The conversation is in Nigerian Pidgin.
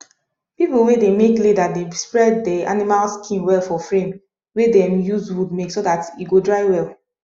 people wey dey make leather dey spread de animal skin well for frame wey dem use wood make so dat e go dry well